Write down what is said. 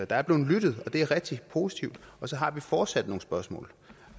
der er blevet lyttet og det er rigtig positivt så har vi fortsat nogle spørgsmål